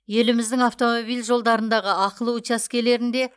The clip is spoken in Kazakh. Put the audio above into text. еліміздің автомобиль жолдарындағы ақылы учаскелерінде